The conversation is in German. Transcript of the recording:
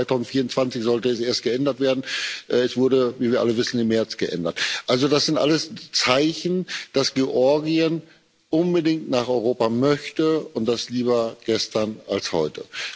2024 sollte es erst geändert werden. Es wurde, wie wir alle wissen, im März geändert. Also das sind alles Zeichen, dass Georgien unbedingt nach Europa möchte und das lieber gestern als heute.